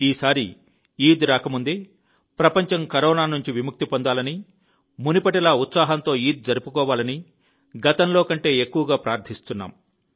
ఈసారి ఈద్ రాకముందే ప్రపంచం కరోనా నుండి విముక్తి పొందాలని మునుపటిలా ఉత్సాహంతో ఈద్ జరుపుకోవాలని గతంలో కంటే ఎక్కువగా ప్రార్థిస్తున్నాము